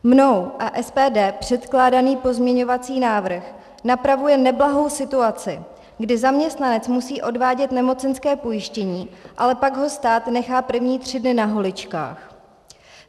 Mnou a SPD předkládaný pozměňovací návrh napravuje neblahou situaci, kdy zaměstnanec musí odvádět nemocenské pojištění, ale pak ho stát nechá první tři dny na holičkách.